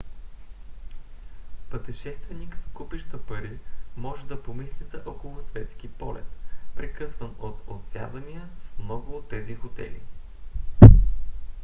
пътешественик с купища пари може да помисли за околосветски полет прекъсван от отсядания в много от тези хотели